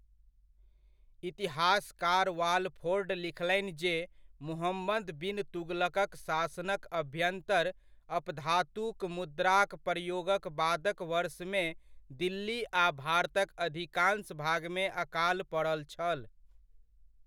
इतिहासकार वाल्फोर्ड लिखलनि जे मुहम्मद बिन तुगलकक शासनक अभ्यन्तर अपधातुक मुद्राक प्रयोगक बादक वर्षमे दिल्ली आ भारतक अधिकांश भागमे अकाल पड़ल छल।